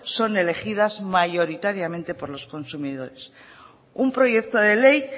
son elegidas mayoritariamente por los consumidores un proyecto de ley